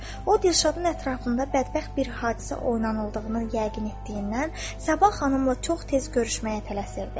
O Dilşadın ətrafında bədbəxt bir hadisə oynanıldığını yəqin etdiyindən Səbah xanımla çox tez görüşməyə tələsirdi.